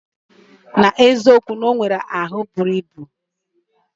Na eziokwu, onwere ahu buru ibu.